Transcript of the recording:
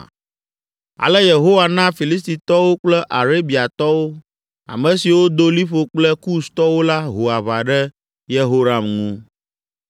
Ale Yehowa na Filistitɔwo kple Arabiatɔwo, ame siwo do liƒo kple Kustɔwo la ho aʋa ɖe Yehoram ŋu.